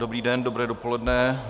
Dobrý den, dobré dopoledne.